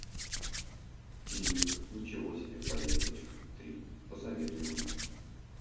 фильмик ничего себе поездочка три посоветуй мне